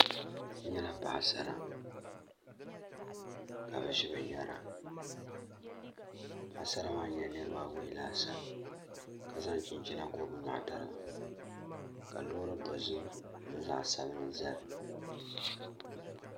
N nyɛla paɣasara ka bi ʒi binyɛra paɣasara maa nyɛla niraba awoi laasabu ka zaŋ chinchina gooi bi nyoɣu tariga ka loori dozim ni zaɣ sabinli ʒɛya